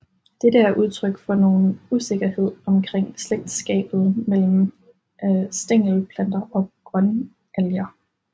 Dette er udtryk for nogen usikkerhed omkring slægtskabet mellem stængelplanter og grønalger